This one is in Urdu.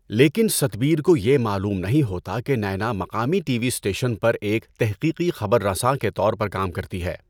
لیکن ستبیر کو یہ معلوم نہیں ہوتا کہ نینا مقامی ٹی وی اسٹیشن پر ایک تحقیقی خبر رساں کے طور پر کام کرتی ہے۔